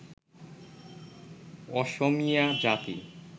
অসমীয়া জাতি